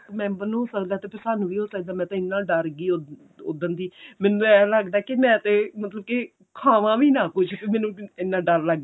member ਨੂੰ ਹੋ ਸਕਦਾ ਤੇ ਸਾਨੂੰ ਵੀ ਹੋ ਸਕਦਾ ਮੈਂ ਤੇ ਇੰਨਾ ਡਰ ਗਈ ਉੱਦਣ ਦੀ ਮੈਂਨੂੰ ਏਂ ਲੱਗਦਾ ਕੀ ਮੈਂ ਤੇ ਮਤਲਬ ਕੀ ਖਾਵਾਂ ਵੀ ਨਾ ਕੁੱਝ ਮੈਨੂੰ ਇੰਨਾ ਡਰ ਲੱਗ